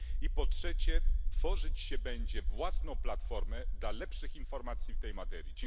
I po trzecie, tworzyć się będzie własną platformę dla lepszych informacji w tej materii.